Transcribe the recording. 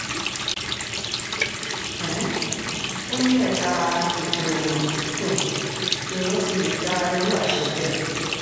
um ó ní ẹ̀ka ètò ìrìnnà um lèèyàn ti lè gba irú àṣẹ bẹ́ẹ̀